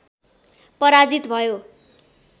पराजित भयो